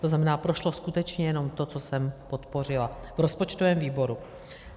To znamená, prošlo skutečně jenom to, co jsem podpořila v rozpočtovém výboru.